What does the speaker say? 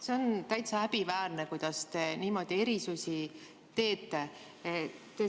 See on täitsa häbiväärne, kuidas te niimoodi erisusi teete.